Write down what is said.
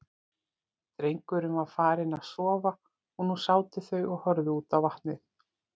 Drengurinn var farinn að sofa og nú sátu þau og horfðu út á vatnið.